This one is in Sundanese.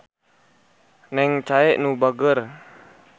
Neng Chae nu bageur.